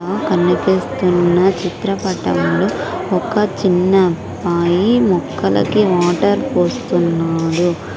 ఆ కనిపిస్తున్న చిత్రపటంలో ఒక చిన్న అబ్బాయి మొక్కలకి వాటర్ పోస్తున్నాడు.